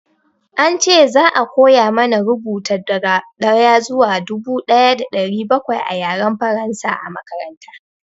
An ce za a koya mana rubuta daga ɗaya zuwa dubu ɗaya da ɗari bakwai a Yaren Faransa a makaranta.